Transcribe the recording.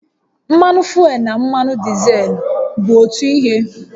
Mmanụ fuel na mmanụ dizel bụ otu ihe?